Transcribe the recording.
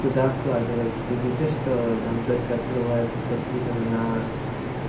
куда вкладывать ты видишь что там только открываются торги и там на